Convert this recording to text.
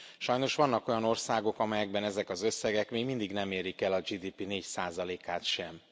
Sajnos vannak olyan országok, amelyekben ezek az összegek még mindig nem érik el a GDP 4 százalékát sem.